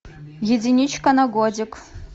единичка на годик